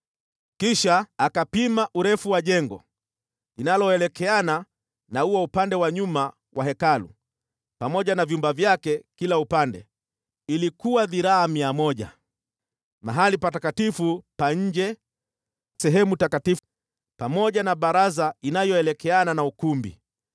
Kisha akapima urefu wa jengo linaloelekeana na ua upande wa nyuma wa Hekalu, pamoja na vyumba vyake kila upande, ilikuwa dhiraa mia moja. Sehemu takatifu ya nje, sehemu takatifu ya ndani, pamoja na baraza inayoelekeana na ukumbi,